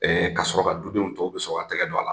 Ka sɔrɔ ka dudenw tɔw bi sɔrɔ k'u tɛgɛ don a la.